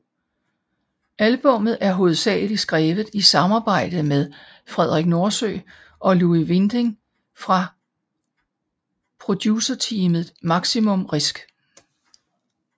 Albummet er hovedsageligt skrevet i samarbejde med Frederik Nordsø og Louis Winding fra producerteamet Maximum Risk